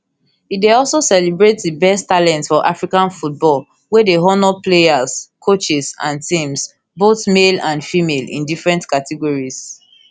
e dey also celebrate di best talent for african football wey dey honour players coaches and teams both male and female in different categories